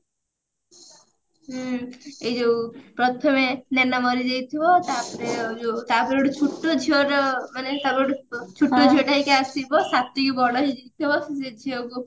ହୁଁ ଏଇ ଯଉ ପ୍ରଥମେ ନୈନା ମରିଯାଇଥିବ ତାପରେ ଯଉ ତାପରେ ଗୋଟେ ଛୁଟ ଝିଅଟା ମାନେ ତାପରେ ଗୋଟେ ଛୁଟ ଝିଅଟା ହେଇକି ଆସିବ ସ୍ଵାତି ବି ବଡ ହେଇଯାଇଥିବ ସେ ଝିଅକୁ